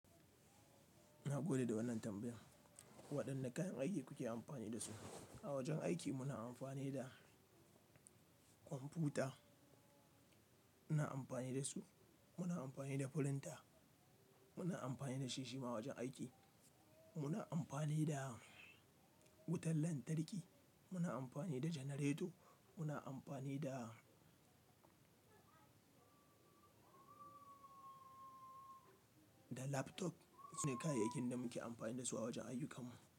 Ina gode da wannan tambayar. Waɗanne kayan aiki kuke amfani da su? A wajen aiki muna amfani da kwamfuta, muna amfani da su, muna amfani da firinta, muna amfani da shishima a wajen aiki, muna amfani da wutar lantarki, muna amfani da janareto, muna amfani da, da laptop. Waɗannan su ne kayayyakin da muke amfani da su a wajen ayyukansu.